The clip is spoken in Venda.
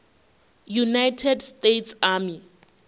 united states army